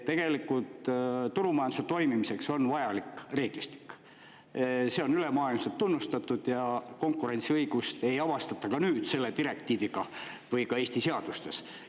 Tegelikult turumajanduse toimimiseks on vajalik reeglistik, see on ülemaailmselt tunnustatud ja konkurentsiõigust ei avastata ka nüüd selle direktiiviga või ka Eesti seadustes.